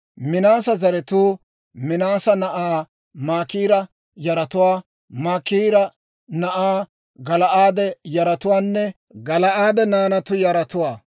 Minaase zaratuu Minaase na'aa Maakiira yaratuwaa, Maakiiri na'aa Gala'aade yaratuwaanne Gala'aade naanatu yaratuwaa.